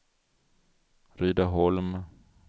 Rydaholm